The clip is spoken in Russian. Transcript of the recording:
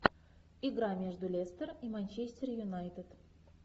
игра между лестер и манчестер юнайтед